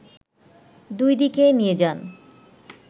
দুই দিকে নিয়ে যান